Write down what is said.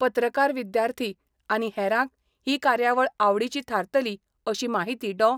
पत्रकार विद्यार्थी आनी हेरांक ही कार्यावळ आवडीची थारतली अशी माहिती डॉ.